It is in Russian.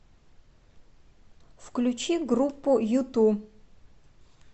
включи группу юту